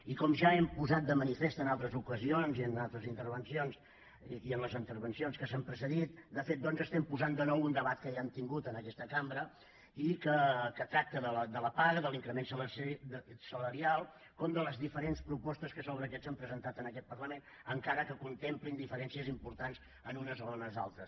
i com ja hem posat de manifest en altres ocasions i en altres intervencions i en les intervencions que ens han precedit de fet doncs estem posant de nou un debat que ja hem tingut en aquesta cambra i que tracta de la paga de l’increment salarial com de les diferents propostes que sobre aquests s’han presentat en aquest parlament encara que contemplin diferències importants en unes o unes altres